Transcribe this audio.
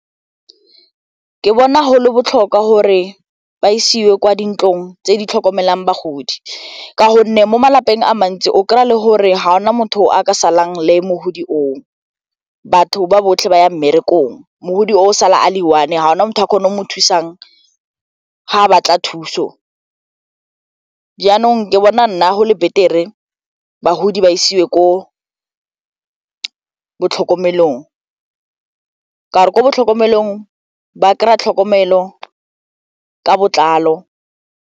Ke bona go le botlhokwa gore ba isiwe kwa dintlong tse di tlhokomelang bagodi ka gonne mo malapeng a mantsi o kry-a le gore ga gona motho o a ka salang le mogodi o, batho ba botlhe ba ya mmerekong, mogodi oo o sala a le one ga gona motho a kgonang o mo thusang ga batla thuso jaanong ke bona nna go le betere bagodi ba isiwe ko botlhokomelong ka ko botlhokomelong ba kry-a tlhokomelo ka botlalo.